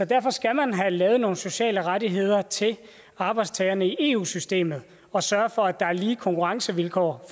derfor skal man have lavet nogle sociale rettigheder til arbejdstagerne i eu systemet og sørge for at der er lige konkurrencevilkår